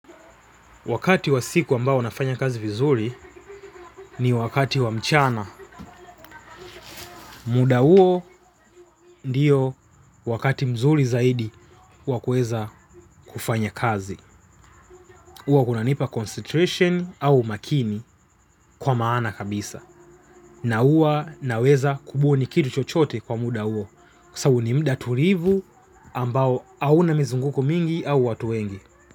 Wakati wa siku ambao unafanya kazi vizuri ni wakati wa mchana. Muda huo ndiyo wakati mzuri zaidi wakuweza kufanya kazi. Huwa kunanipa concentration au umakini kwa maana kabisa. Na huwa naweza kubuni kitu chochote kwa muda huo. Kwa sababu ni muda tulivu ambao hauna mizunguko mingi au watu wengi.